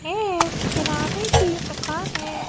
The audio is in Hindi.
ये एक किराने की दुकान है।